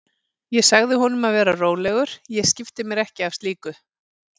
Ég sagði honum að vera rólegur, ég skipti mér ekki af slíku.